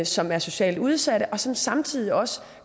som er socialt udsatte og som samtidig også